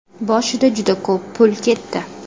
Boshida juda ko‘p pul ketdi.